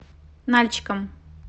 нальчиком